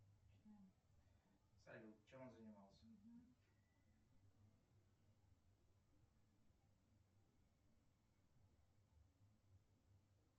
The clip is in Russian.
салют чем он занимался